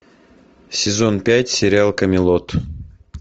сезон пять сериал камелот